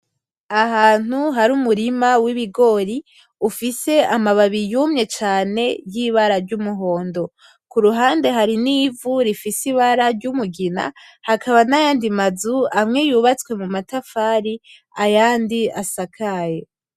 Ahantu hari umurima w'ibigori ufise amababi yumye cane yibara ry'umuhondo. Kuruhande hari ni vu rifise ibara ry'umugina hakaba nayandi mazu amwe yubatswe mu ma tafari ayandi asakaye.